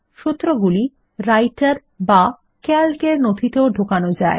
সূত্রগুলি রাইটের বা Calc এর নথিতেও ঢোকানো যায়